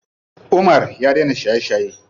Umar ya dena shaye shaye.